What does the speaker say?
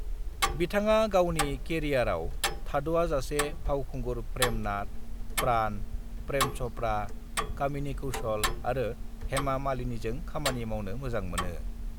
"बिथाङा गावनि केरियारआव थाद'आजासे फावखुंगुर प्रेम नाथ, प्राण, प्रेम चोपड़ा, कामिनी कौशल आरो हेमा मालिनीजों खामानि मावनो मोजां मोनो।"